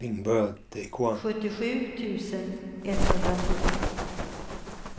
sjuttiosju tusen etthundratvå